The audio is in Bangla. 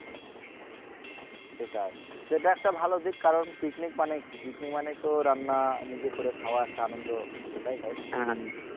সেটাই সেটা একটা ভালো দিক কারণ picnic মানে কি picnic মানে তো রান্না নিজে করে খাওয়া একটা আনন্দ সেটাই তাই না